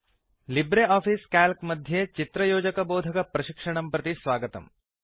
Libre Office Calc मध्ये चित्रयोजनबोधक प्रशिक्षणं प्रति स्वागतम्